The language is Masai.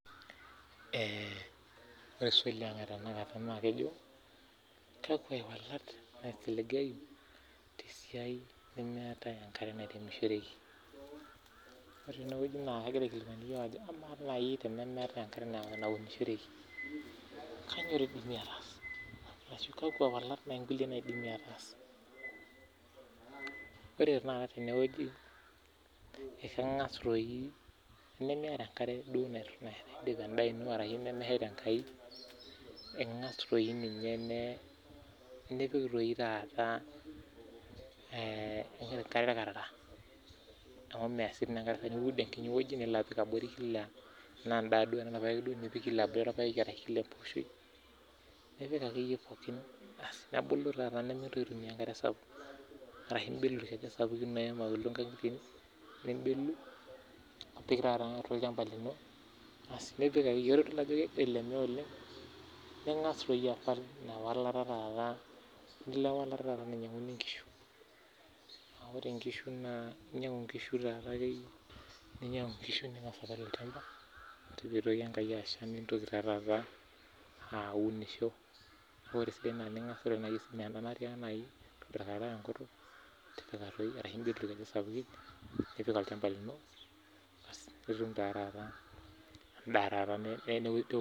ore swali ang etanakata naa kejo kakua iwalat naisiligayu te siai nemeetae enkare nairemishoreki kainyioo idimi ataas ore naa tenewueji tenimiata enkare nipik endaa ino ashu nishetie enkaji ino ingas doi ninye taata nipik enkare irkarara niud enkiti wueji nilo apik tiabori kila orpayeki tenaa irpayek duoo ituuno , nimitoki ena aya enkare sapuk. Idim anyaaki ashomo ainyangu inkishu ore piitoki asha nishukokino aunisho nitum endaa ino